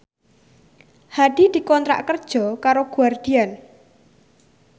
Hadi dikontrak kerja karo Guardian